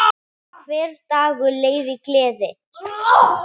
Hver dagur leið í gleði.